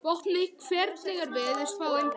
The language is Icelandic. Vopni, hvernig er veðurspáin?